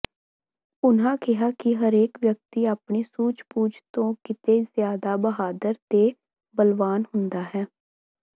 ਉਨ੍ਹਾਂ ਕਿਹਾ ਕਿ ਹਰੇਕ ਵਿਅਕਤੀ ਆਪਣੀ ਸੂਝਬੁਝ ਤੋਂ ਕਿਤੇ ਜ਼ਿਆਦਾ ਬਹਾਦਰ ਤੇ ਬਲਵਾਨ ਹੁੰਦਾ ਹੈ